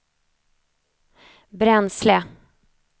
bränsle